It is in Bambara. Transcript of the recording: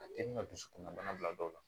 A te na dusukun na bana bila dɔw la